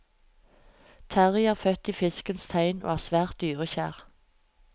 Terrie er født i fiskens tegn og er svært dyrekjær.